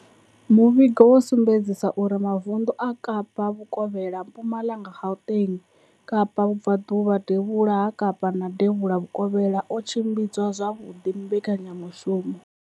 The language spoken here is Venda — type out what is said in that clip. Muvhigo wo sumbedzisa uri mavundu a Kapa Vhukovhela, Mpumalanga, Gauteng, Kapa Vhubva ḓuvha, Devhula ha Kapa na Devhula Vhukovhela o tshimbidza zwavhuḓi mbekanya mushumo.